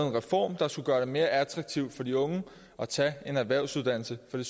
en reform der skulle gøre det mere attraktivt for de unge at tage en erhvervsuddannelse for det